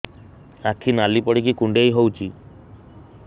ଆଖି ନାଲି ପଡିକି କୁଣ୍ଡେଇ ହଉଛି